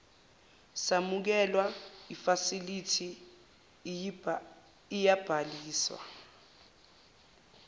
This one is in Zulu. samukelwa ifasilithi iyabhaliswa